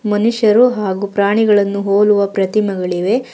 ಮನುಷ್ಯರು ಹಾಗು ಪ್ರಾಣಿಗಳನ್ನು ಹೋಲುವ ಪ್ರತಿಮಗಳಿವೆ.